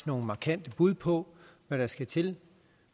nogle markante bud på hvad der skal til